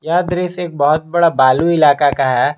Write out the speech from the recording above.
यह दृश्य एक बहुत बड़ा बालू इलाका का है।